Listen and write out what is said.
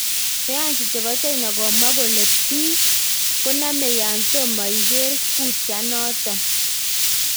Sayansi chepo China komwa kole pik konameng ya tomokot iger kuiteninaton.